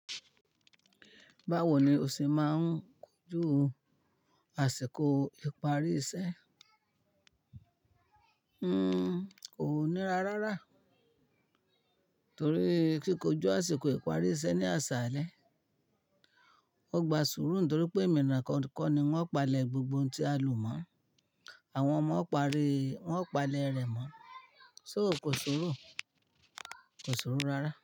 Báwo ni o ṣe máa ń kojú àsìkò ìparí iṣẹ́? N ko níra rára torí kíkójú àsìkò ìparí iṣẹ́ ní aṣálẹ́. Wọ́n gba sùúrù nítorí pé eminikan ko ni wọ́n o palẹ̀ gbogbo ohun tí a lò mọ̀. Àwọn ọmọ ń parí, wọ́n palẹ̀ rẹ̀ mọ́. Só kò ṣòro, kò ṣòro rárá.